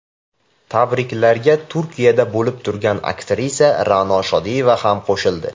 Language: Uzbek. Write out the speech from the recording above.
Tabriklarga Turkiyada bo‘lib turgan aktrisa Ra’no Shodiyeva ham qo‘shildi.